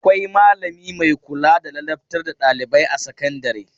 Akwai malami mai kula da ladabtar da ɗailibai a sakandare.